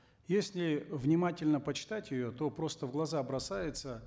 если внимательно почитать ее то просто в глаза бросается